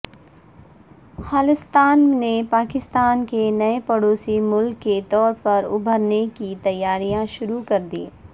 خالصتان نے پاکستان کے نئے پڑوسی ملک کے طور پر ابھرنےکی تیاریاں شروع کر دیں